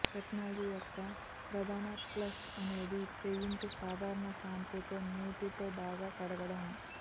technology యొక్క ప్రధాన plus అనేది పెయింట్ సాధారణ షాంపూతో నీటితో బాగా కడగడం